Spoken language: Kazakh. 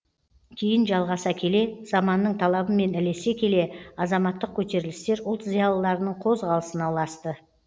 кейін жалғаса келе заманның талабымен ілесе келе азаматтық көтерілістер ұлт зиялыларының қозғалысына ұласты